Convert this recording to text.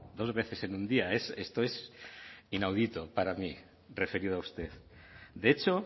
dos veces en un día esto es inaudito para mí referido a usted de hecho